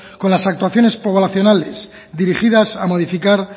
con las actuaciones poblacionales dirigidas a modificar